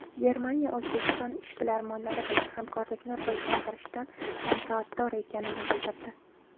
Germaniya O‘zbekiston ishbilarmonlari bilan hamkorlikni rivojlantirishdan manfaatdor ekanini bildirdi.